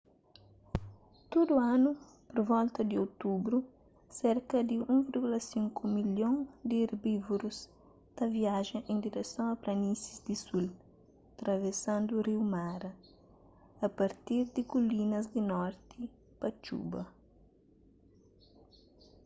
tudu anu pur volta di otubru serka di 1,5 milhon di erbívorus ta viaja en direson a planísis di sul travesandu riu mara a partir di kulinas di norti pa txuba